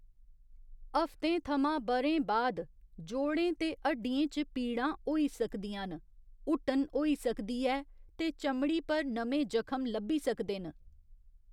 हफ्तें थमां ब'रें बाद, जोड़ें ते हड्डियें च पीड़ां होई सकदियां न, हुट्टन होई सकदी ऐ ते चमड़ी पर नमें जखम लब्भी सकदे न।